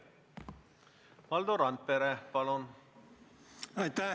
Valdo Randpere, palun!